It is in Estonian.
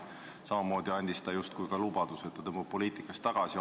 Samas andis ta justkui lubaduse, et ta tõmbub poliitikast tagasi.